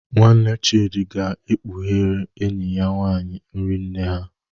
Nwanne Chidi ga-ekpughere enyi ya nwanyị nri nne ha